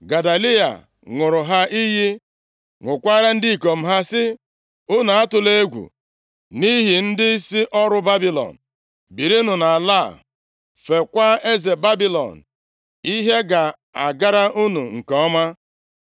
Gedaliya ṅụọrọ ha iyi, ṅụkwaara ndị ikom ha, sị, “Unu atụla egwu nʼihi ndịisi ọrụ Babilọn. Birinụ nʼala a, feekwa eze Babilọn, ihe ga-agara unu nke ọma.”